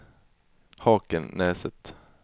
Hakenäset